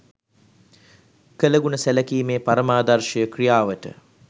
කළගුණ සැලකීමේ පරමාදර්ශය ක්‍රියාවට